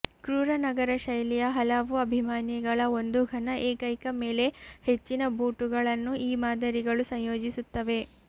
ಕ್ರೂರ ನಗರ ಶೈಲಿಯ ಹಲವು ಅಭಿಮಾನಿಗಳು ಒಂದು ಘನ ಏಕೈಕ ಮೇಲೆ ಹೆಚ್ಚಿನ ಬೂಟುಗಳನ್ನು ಈ ಮಾದರಿಗಳು ಸಂಯೋಜಿಸುತ್ತವೆ